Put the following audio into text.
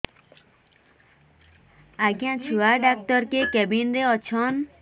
ଆଜ୍ଞା ଛୁଆ ଡାକ୍ତର କେ କେବିନ୍ ରେ ଅଛନ୍